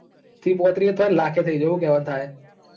ત્રીસ પોત્રીસ એ થોય ન લાખ એ થઇ જોય હું કેવાંન થાય.